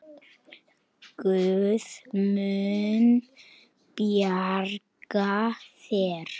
Guð mun bjarga þér.